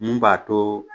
Mun b'a to